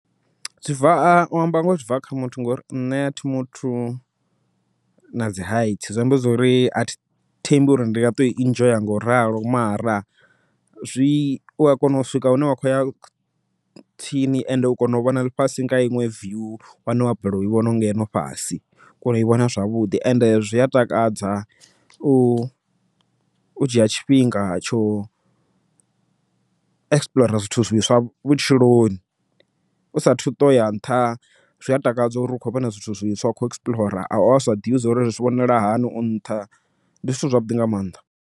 Zwi bva u amba ngoho zwi bva kha muthu, ngori nṋe athi muthu na dzi height zwi amba zwori a thembi uri ndi nga ṱoi enjoy ngauralo, mara zwi a ua kona u swika hune wa kho ya tsini ende u kona u vhona ḽifhasi nga iṅwe view, yane wa balelwa u i vhona ngeno fhasi. U kona ui vhona zwavhuḓi ende zwi a takadza u dzhia tshifhinga tsho, explore zwithu zwiswa vhutshiloni u sa thu ṱoya nṱha zwi a takadza uri u khou vhona zwithu zwiswa u kho explore wa sa ḓivhi zwauri zwi vhonala hani u nṱha ndi zwithu zwavhuḓi nga maanḓa.